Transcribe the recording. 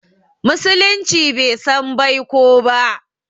Musulunci bai san baiko ba